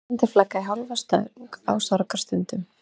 Á Íslandi er flaggað í hálfa stöng á sorgarstundum.